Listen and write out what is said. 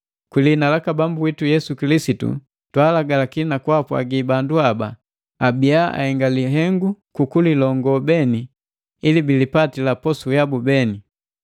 Kwi lihina laka Bambu witu Yesu Kilisitu twaalagalaki na kwaapwagi bandu haba abiya ahenga lihengu ku kulilongo beni ili bilipatila posu yabu beni.